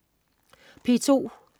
P2: